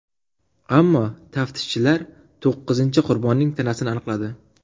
Ammo taftishchilar to‘qqizinchi qurbonning tanasini aniqladi.